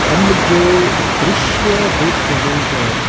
हम जो दृश्य देख रहे हैं--